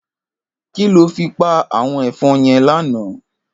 Kiló fi pá áwòn èfòn yèn làná